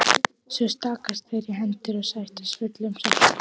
Svo takast þeir í hendur og sættast fullum sáttum.